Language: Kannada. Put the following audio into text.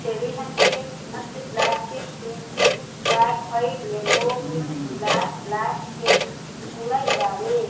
ಚೆರ್ರಿ ಹೆನ್ ಕೇಕ್ ಮತ್ತೆ black cake pink cake black white yellow pink black black cake ಕೂಡ ಇದಾವೆ.